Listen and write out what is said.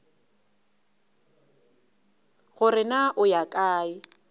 gore na o ya kae